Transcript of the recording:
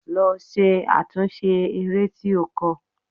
Lọ ṣe àtúnṣe eré tí o kọ!